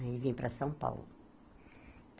Aí vim para São Paulo.